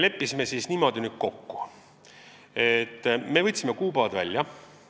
Leppisime niimoodi kokku, et võtsime kuupäevad välja.